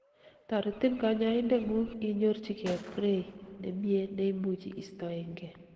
toretin kanyoindetngung inyorchigei prey nemie neimuchi istoengei